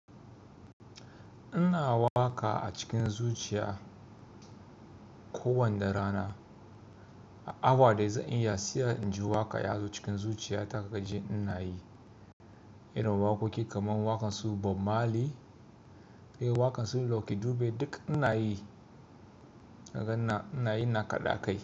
Ina waƙa a cikin zuciya. Ko wanda rana, a awa da zan iya siya, in ji waƙa ya zo cikin zuciya ta kaga ji ina yi. Irin waƙoƙi kaman waƙan su Bob Marley, eh waƙan su Lucky Dube duk ina yi. Kaga ina yi na kaɗa kai.